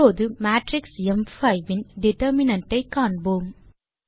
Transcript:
இப்போது மேட்ரிக்ஸ் ம்5 இன் டிட்டர்மினன்ட் ஐ காண்போம்